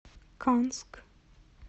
канск